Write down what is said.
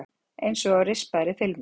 Einsog á rispaðri filmu.